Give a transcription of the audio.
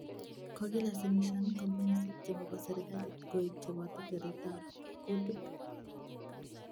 Kokelasimishan koombunisyek chemobo serikaliit koek cheboto tereetaab kuutik